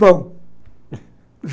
Pão